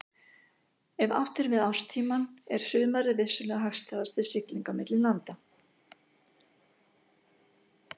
Ef átt er við árstímann er sumarið vissulega hagstæðast til siglinga milli landa.